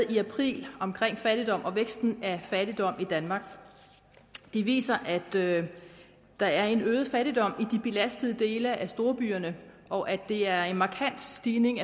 i april om fattigdom og væksten af fattigdom i danmark de viser at der er en øget fattigdom i de belastede dele af storbyerne og at der er en markant stigning